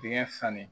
Dengɛ fani